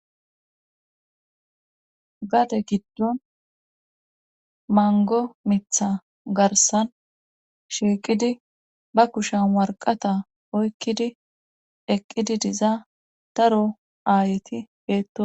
Gade giddon mango mitha garssan shiiqidi ba kushan worqata oykkidi eqqidi diza daro aayeti beetosona